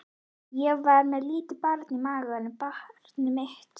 Ég var með lítið barn í maganum, barnið mitt.